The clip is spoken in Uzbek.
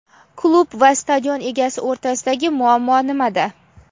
Klub va stadion egasi o‘rtasidagi muammo nimada?.